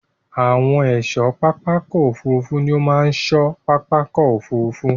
Àwọn ẹ̀ṣọ́ pápákọ̀ òfurufú ní ó máa ṣọ́ pápákọ̀ òfurufú.